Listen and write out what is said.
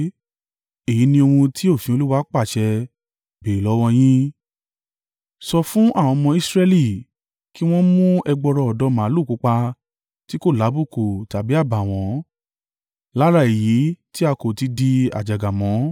“Èyí ni ohun tí òfin Olúwa pàṣẹ béèrè lọ́wọ́ yín. Sọ fún àwọn ọmọ Israẹli, kí wọn mú ẹgbọrọ ọ̀dọ́ màlúù pupa tí kò lábùkù tàbí àbàwọ́n, lára èyí tí a kò tí ì di àjàgà mọ́.